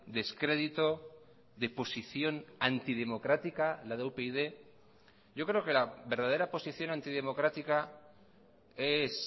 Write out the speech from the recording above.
descrédito de posición antidemocrática la de upyd yo creo que la verdadera posición antidemocrática es